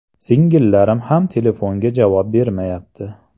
Singillarim ham telefonga javob bermayapti.